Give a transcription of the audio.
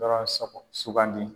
Dɔɔ sɔbɔ sugandi